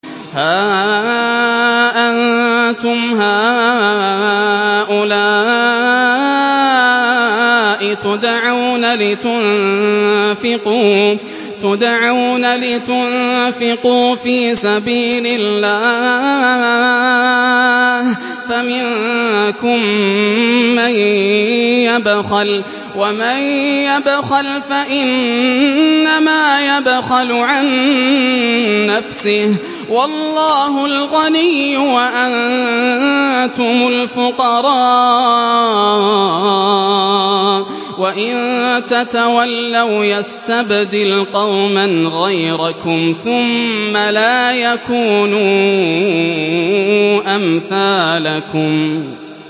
هَا أَنتُمْ هَٰؤُلَاءِ تُدْعَوْنَ لِتُنفِقُوا فِي سَبِيلِ اللَّهِ فَمِنكُم مَّن يَبْخَلُ ۖ وَمَن يَبْخَلْ فَإِنَّمَا يَبْخَلُ عَن نَّفْسِهِ ۚ وَاللَّهُ الْغَنِيُّ وَأَنتُمُ الْفُقَرَاءُ ۚ وَإِن تَتَوَلَّوْا يَسْتَبْدِلْ قَوْمًا غَيْرَكُمْ ثُمَّ لَا يَكُونُوا أَمْثَالَكُم